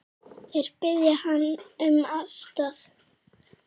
Þeir biðja hann um aðstoð.